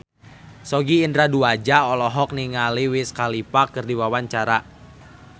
Sogi Indra Duaja olohok ningali Wiz Khalifa keur diwawancara